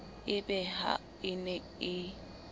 e be ha e ne